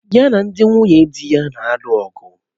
Ya na ndị nwunye dị ya na-alụ ọgụ